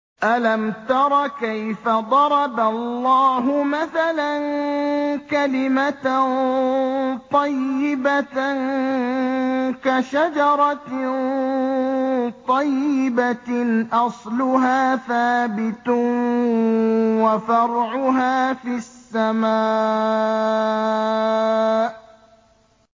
أَلَمْ تَرَ كَيْفَ ضَرَبَ اللَّهُ مَثَلًا كَلِمَةً طَيِّبَةً كَشَجَرَةٍ طَيِّبَةٍ أَصْلُهَا ثَابِتٌ وَفَرْعُهَا فِي السَّمَاءِ